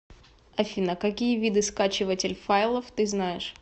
афина какие виды скачиватель файлов ты знаешь